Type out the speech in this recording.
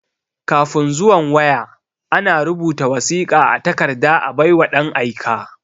Kafin zuwan waya,a na rubuta wasiƙa a takarda a bai wa ɗan aika.